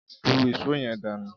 Ju ìs̩ó ye̩n dànù!